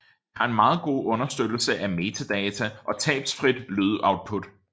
Det har en meget god understøttelse af metadata og tabsfrit lydoutput